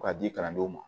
Ka di kalandenw ma